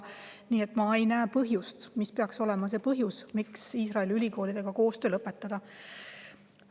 Nii et ma ei näe põhjust, miks peaks Iisraeli ülikoolidega koostöö lõpetama.